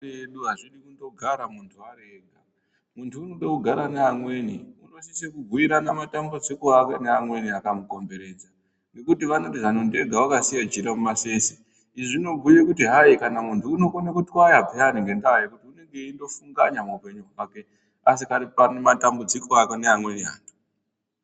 Edu azvidi kundogara muntu ari ega muntu unode kugara neamweni unosise kubhuirana matambudziko ake neamweni akamukombetedza ngekuti vanoti zano ndega akasiya jira mumasese izvi zvinobhuye kuti hayi kana muntu unokone kutwaya payani ngebdaa yekuti unenge eindofunganya muupenyu hwake asikadipa matamvudziko ake neamweni antu.